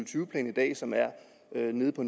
tyve plan som er nede på